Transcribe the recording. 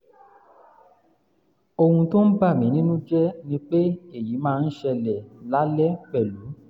ohun tó ń bà mí nínú jẹ́ ni pé èyí máa ń ṣẹlẹ̀ lálẹ́ pẹ̀lú